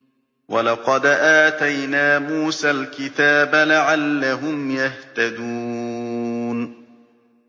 وَلَقَدْ آتَيْنَا مُوسَى الْكِتَابَ لَعَلَّهُمْ يَهْتَدُونَ